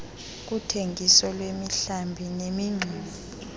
kuthengiso lwemihlambi nemingxuma